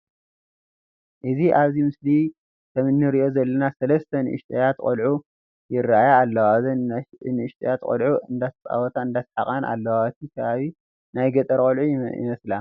እዚ ኣብዚ ምስሊ ከምእንርእዩ ዘለና ሰለስተ ንእሽተያት ቆልዑ ይራኣያ ኣለዋ። እዘን ንእሽተያት ቆልዑ እንዳተፃወታን እንደሳሓቃን ኣለዋ። እቲ ከባቢ ናይ ገጠር ቀልዑ ይመስላ።